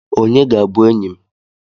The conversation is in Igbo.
Onye ga-abụ enyị m?